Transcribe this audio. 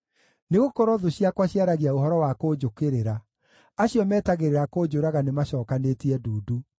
Nĩgũkorwo thũ ciakwa ciaragia ũhoro wa kũnjũkĩrĩra; acio metagĩrĩra kũnjũraga nĩmacokanĩtie ndundu.